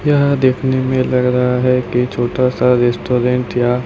यह देखने में लग रहा है कि छोटा सा रेस्टोरेंट या--